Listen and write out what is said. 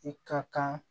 I ka kan